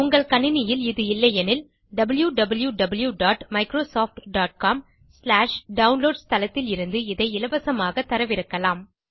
உங்கள் கணினியில் இது இல்லையெனில் wwwmicrosoftcomdownloads தளத்திலிருந்து இதை இலவசமாக தரவிறக்கலாம்